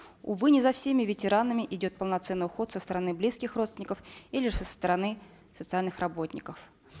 увы не за всеми ветеранами идет полноценный уход со стороны близких родственников или со стороны социальных работников